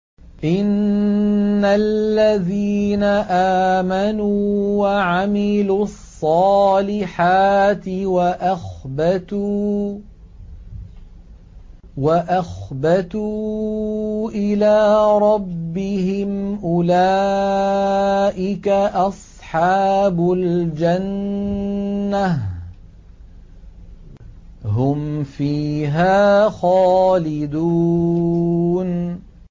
إِنَّ الَّذِينَ آمَنُوا وَعَمِلُوا الصَّالِحَاتِ وَأَخْبَتُوا إِلَىٰ رَبِّهِمْ أُولَٰئِكَ أَصْحَابُ الْجَنَّةِ ۖ هُمْ فِيهَا خَالِدُونَ